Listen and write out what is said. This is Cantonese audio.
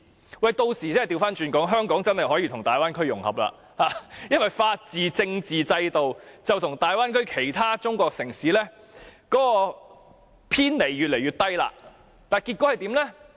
他們屆時真的可以反過來說，香港可以跟大灣區融合，因為香港的法治和政治制度跟大灣區內其他中國城市相差越來越少。